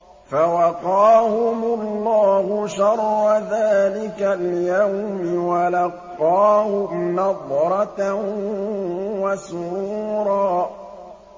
فَوَقَاهُمُ اللَّهُ شَرَّ ذَٰلِكَ الْيَوْمِ وَلَقَّاهُمْ نَضْرَةً وَسُرُورًا